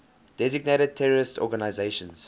designated terrorist organizations